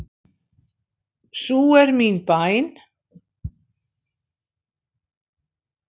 Sú er mín bæn.